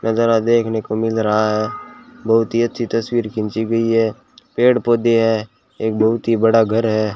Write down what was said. नजारा देखने को मिल रहा है बहुत ही अच्छी तस्वीर खींची गई है पेड़ पौधे हैं एक बहुत ही बड़ा घर है।